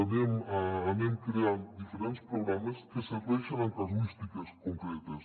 anem creant diferents programes que serveixen en casuístiques concretes